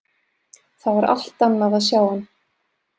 Það var allt annað að sjá hann.